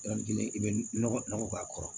Yɔrɔ kelen i bɛ nɔgɔ nɔgɔ k'a kɔrɔ